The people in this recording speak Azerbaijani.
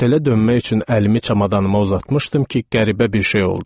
Otelə dönmək üçün əlimi çamadanıma uzatmışdım ki, qəribə bir şey oldu.